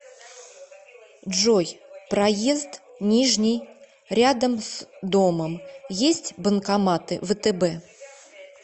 джой проезд нижний рядом с домом есть банкоматы втб